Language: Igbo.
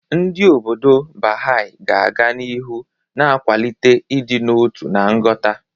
Ndị obodo Baha'i ga-aga n'ihu na-akwalite ịdị n'otu na nghọta.